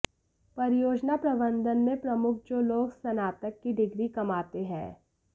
परियोजना प्रबंधन में प्रमुख जो लोग स्नातक की डिग्री कमाते हैं